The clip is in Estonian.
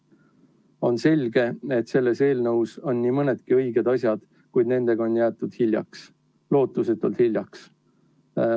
On selge, et selles eelnõus on nii mõnigi õige asi, kuid nendega on jäädud hiljaks, lootusetult hiljaks.